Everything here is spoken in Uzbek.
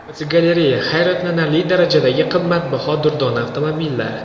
Fotogalereya: Hayratlanarli darajadagi qimmatbaho durdona avtomobillar.